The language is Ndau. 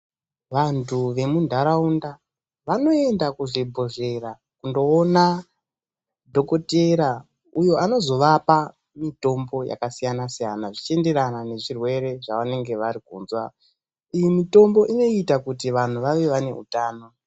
Vantu vemundaraunda vanoenda kuzvibhodhlera kundoona dhokotera uyo anozovapa mitombo yakasiyana-siyana, zvichienderana nechirwere chavanenge varikunzwa. Iyi mitombo inoita kuti vantu vave vane hutano.